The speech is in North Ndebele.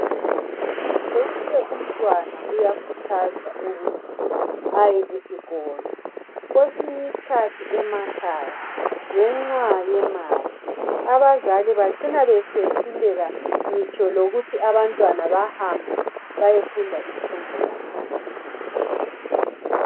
Wonke umntwana uyakhuthazwa ukuthi ehambe esikolo, kwesinye isikhathi emakhaya abazali ngenxa yemali, abazali bacina bese hluleka ngitsho lokuthi abantwana behambe beyefunda imfundo yaphansi.